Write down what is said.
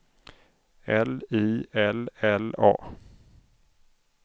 L I L L A